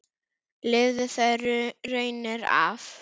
Lifði þær raunir af.